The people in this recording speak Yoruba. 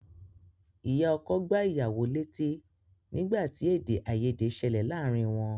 Ìyá ọkọ gbá ìyàwó létí nígbà tí èdè-àìyèdè ṣẹlẹ̀ láàárín wọn.